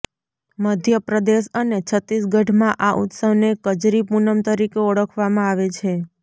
મધ્યપ્રદેશ અને છત્તીસગઢમાં આ ઉત્સવને કજરી પૂનમ તરીકે ઓળખવામાં આવે છે